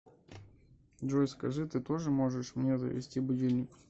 джой скажи ты тоже можешь мне завести будильник